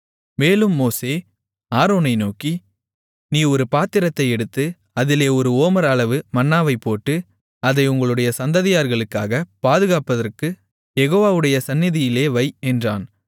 மேலும் மோசே ஆரோனை நோக்கி நீ ஒரு பாத்திரத்தை எடுத்து அதிலே ஒரு ஓமர் அளவு மன்னாவைப் போட்டு அதை உங்களுடைய சந்ததியார்களுக்காகப் பாதுகாப்பதற்குக் யெகோவாவுடைய சந்நிதியிலே வை என்றான்